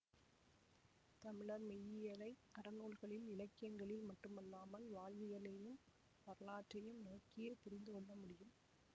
தமிழர் மெய்யியலை அறநூல்களில் இலக்கியங்களில் மட்டுமல்லாமல் வாழ்வியலையும் வரலாற்றையும் நோக்கியே புரிந்து கொள்ளமுடியும்